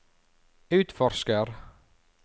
utforsker